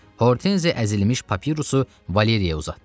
Hortenzi əzilmiş papirusu Valeriyaya uzatdı.